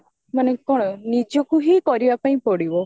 ମାନେ କଣ ନିଜକୁ ହିଁ କରିବା ପାଇଁ ପଡିବ